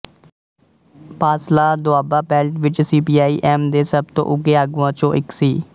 Pasla Doaba belt ਵਿੱਚ CPI M ਦੇ ਸਭ ਤੋਂ ਉੱਘੇ ਆਗੂਆਂ ਚੋਂ ਇੱਕ ਸੀ